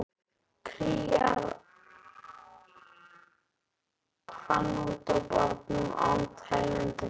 Kríar hann út á barnum án teljandi fyrirhafnar.